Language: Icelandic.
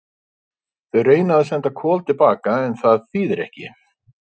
Þau reyna að senda Kol til baka en það þýðir ekki.